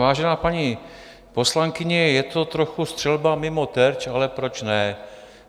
Vážená paní poslankyně, je to trochu střelba mimo terč, ale proč ne.